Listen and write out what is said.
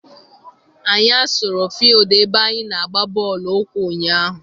Anyị asụrụ fildu ebe anyị na-agba bọọlụ ụkwụ ụnyaahụ.